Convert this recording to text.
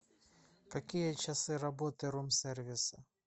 какие часы работы рум сервиса